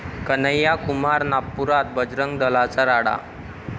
कन्हैया कुमार नागपुरात, बजरंग दलाचा राडा